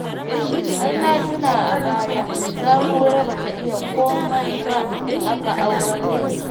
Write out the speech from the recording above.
Har na tuna a baya Sahura ba ta iya komai ba aka aurar da ita